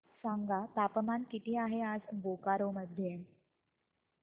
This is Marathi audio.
सांगा तापमान किती आहे आज बोकारो मध्ये